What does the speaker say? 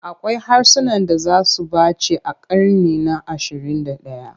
Akwai harsunan da za su ɓace a ƙarni na ashirin da ɗaya.